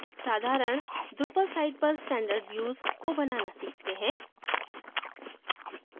साधारण drupal site पर standard views को बनाना सीखते हैं